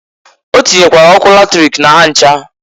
Ọ tinyekwara ọkụ latrik na ha ncha.